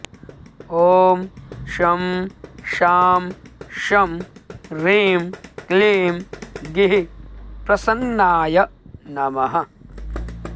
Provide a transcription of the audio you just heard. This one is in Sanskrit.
ॐ शं शां षं ह्रीं क्लीं गीःप्रसन्नाय नमः